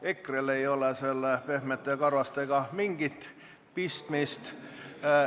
EKRE-l ei ole "Pehmete ja karvastega" mingit pistmist.